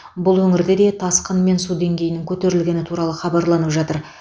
бұл өңірде де тасқын мен су деңгейінің көтерілгені туралы хабарланып жатыр